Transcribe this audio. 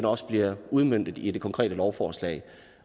også bliver udmøntet i det konkrete lovforslag